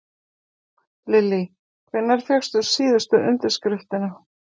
Lillý: Hvenær fékkstu síðustu undirskriftina?